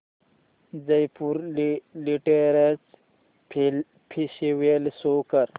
Jaipur literature festival show कर